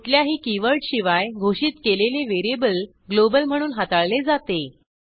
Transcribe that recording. कुठल्याही कीवर्डशिवाय घोषित केलेले व्हेरिएबल ग्लोबल म्हणून हाताळले जाते